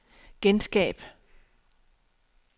genskab